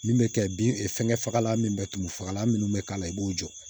Min bɛ kɛ bin fɛngɛ fagalan min bɛ tulu fagalan minnu bɛ k'a la i b'o jɔ